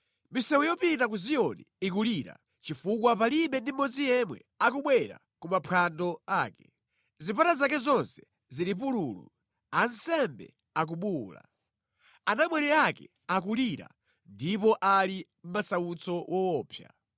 Misewu yopita ku Ziyoni ikulira, chifukwa palibe ndi mmodzi yemwe akubwera ku maphwando ake. Zipata zake zonse zili pululu, ansembe akubuwula. Anamwali ake akulira, ndipo ali mʼmasautso woopsa.